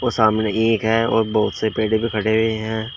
सामने ईख हैं और बहुत से पेड़ भी खड़े हुए हैं।